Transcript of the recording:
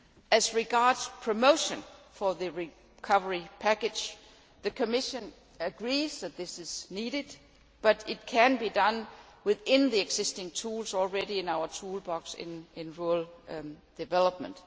As regards promotion of the recovery package, the Commission agrees that this is needed, but it can be done within the existing tools already in our toolbox in rural development.